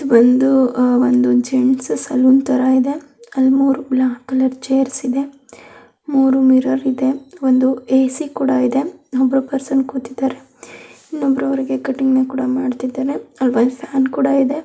ಇದು ಬಂದು ಒಂದು ಜೇಂಟ್ಸ್ ಸಲ್ಯೂನ್ ತರ ಇದೆ ಅಲ್ ಮೂರ್ ಬ್ಲಾಕ್ ಕಲರ್ ಚೇರ್ಸ್ ಇದೆ ಮೂರ್ ಮಿರರ್ ಇದೆ.ವಂದು ಎಸಿ ಕೂಡ ಇದೆ ಒಬ್ರು ಪರ್ಸನ್ ಕುತೇದಾರೆ ಇನ್ ಒಬ್ರು ಅವರಿಗೆ ಕಟಿಂಗ್ ಕೂಡ ಮಾಡ್ತಿದಾರೆ ಅಲ್ಲಿ ಫ್ಯಾನ್ ಕೂಡ ಇದೆ.